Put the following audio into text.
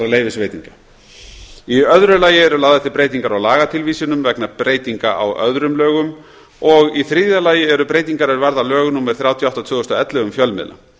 leyfisveitinga í öðru lagi eru lagðar til breytingar á lagatilvísunum vegna breytinga á öðrum lögum og í þriðja lagi eru breytingar er varða lög númer þrjátíu og átta tvö þúsund og ellefu um fjölmiðla